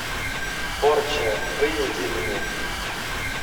порча выведи мне